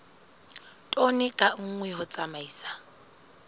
tone ka nngwe ho tsamaisa